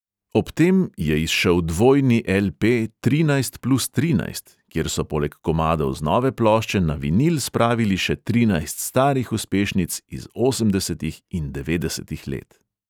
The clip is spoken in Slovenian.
Ob tem je izšel dvojni el|pe trinajst plus trinajst, kjer so poleg komadov z nove plošče na vinil spravili še trinajst starih uspešnic iz osemdesetih in devetdesetih let.